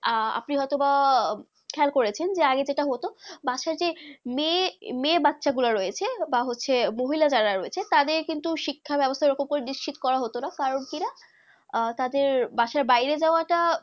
আহ আপনি হতো বা খেয়াল করেছেন যে আগে যেটা হতো বা সহ্য বাঁচা মেয়ে বাঁচা গুলু রয়েছে বা হয়েছে মহিলা যারা রয়েছে তা দেড় কিন্তু শিক্ষা ব্যাবস্তা নিশ্চিত করা হতো না কারণ কি যারা তা দের বাসা বাইরের যাওয়ার তা